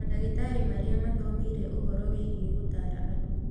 Mandagĩtarĩ marĩa mathomeire ũhoro wĩgiĩ gutaara andũ